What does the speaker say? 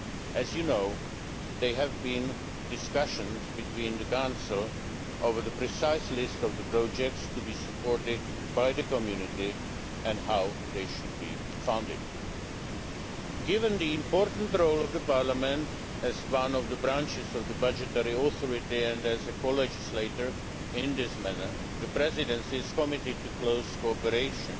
As you know, there have been discussions within the Council over the precise list of projects to be supported by the Community and how they should be funded. Given the important role of Parliament, as one of the branches of the budgetary authority and as co legislator in this matter, the Presidency is committed to close cooperation